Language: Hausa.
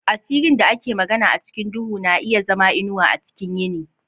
Asirin da ake magana a cikin duhu na iya zama inuwa a cikin yini.